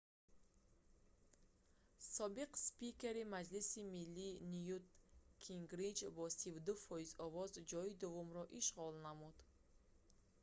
собиқ спикери маҷлиси миллӣ нют гингрич бо 32 фоиз овоз ҷои дуввумро ишғол намуд